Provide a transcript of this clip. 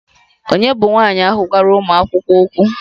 Ònye bụ nwanyị ahụ gwara ụmụ akwụkwọ ahụ okwu?